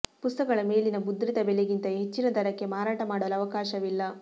ಪುಸ್ತಕಗಳ ಮೇಲಿನ ಮುದ್ರಿತ ಬೆಲೆಗಿಂತ ಹೆಚ್ಚಿನ ದರಕ್ಕೆ ಮಾರಾಟ ಮಾಡಲು ಅವಕಾಶವಿಲ್ಲ